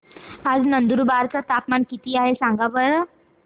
आज नंदुरबार चं तापमान किती आहे सांगा बरं